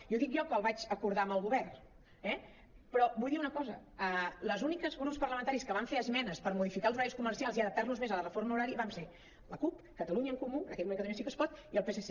i ho dic jo que el vaig acordar amb el govern eh però vull dir una cosa els únics grups parlamentaris que van fer esmenes per modificar els horaris comercials i adaptar·los més a la reforma horària vam ser la cup catalunya en comú en aquell moment catalunya sí que es pot i el psc